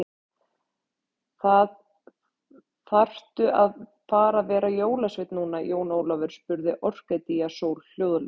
Þaðrftu að fara að vera jólasveinn núna, Jón Ólafur, spurði Orkídea Sól hljóðlega.